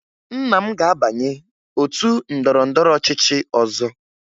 Nna m ga-abanye otu ndọrọndọrọ ọchịchị ọzọ